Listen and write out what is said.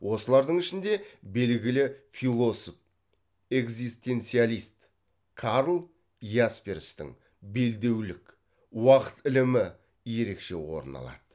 осылардың ішінде белгілі философ экзистенциалист карл ясперстің белдеулік уакыт ілімі ерекше орын алады